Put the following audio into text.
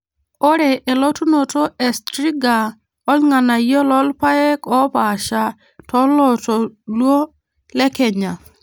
ore elotunoto e striga olng'anayio toolpaek oopaaasha toloontoluo le kenya